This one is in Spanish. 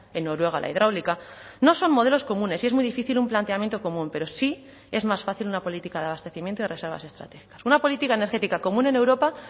en noruega la hidráulica no son modelos comunes y es muy difícil un planteamiento común pero sí es más fácil una política de abastecimiento y reservas estratégicas una política energética común en europa